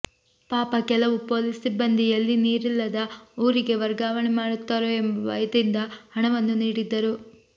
ಪಾಪ ಕೆಲವು ಪೊಲೀಸ್ ಸಿಬ್ಬಂದಿ ಎಲ್ಲಿ ನೀರಿಲ್ಲದ ಊರಿಗೆ ವರ್ಗಾವಣೆ ಮಾಡುತ್ತಾರೋ ಎಂಬ ಭಯದಿಂದ ಹಣವನ್ನೂ ನೀಡಿದ್ದರು